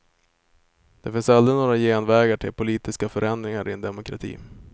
Det finns aldrig några genvägar till politiska förändringar i en demokrati.